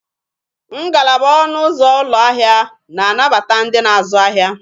Ngalaba ọnụ ụzọ ụlọ ahịa na-anabata ndị na-azụ ahịa.